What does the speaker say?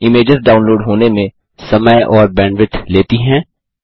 images download होने में समय और बैंडविड्थ लेती हैं